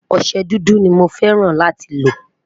ọsẹ dúdú ní mọ fẹràn láti lo